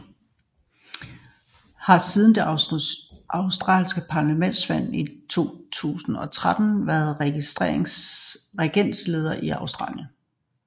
The Coalition har siden det australske parlamentsvalg i 2013 været regeringsledende i Australien